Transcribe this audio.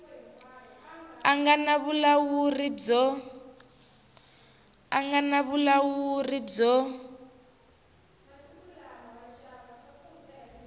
a nga na vulawuri byo